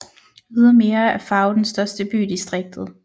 Ydermere er Faro den største by i distriktet